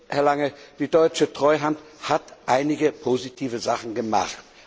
Herr Lange, die deutsche Treuhand hat einige positive Sachen gemacht.